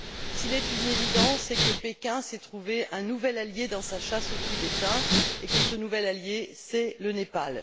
S'il est une évidence, c'est que Pékin s'est trouvé un nouvel allié dans sa chasse aux Tibétains, et que ce nouvel allié, c'est le Népal.